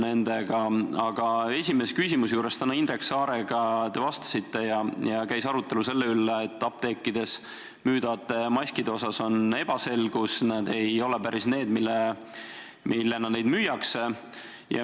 Tänase esimese küsimuse juures, kui te vastasite Indrek Saarele, käis arutelu selle üle, et apteekides müüdavate maskide suhtes on ebaselgus, sest need ei ole päris need, millena neid müüakse.